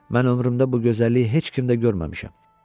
Mən ömrümdə bu gözəlliyi heç kimdə görməmişəm.